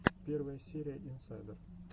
первая серия инсайдер